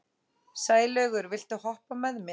Sælaugur, viltu hoppa með mér?